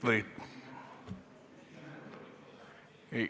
Või ...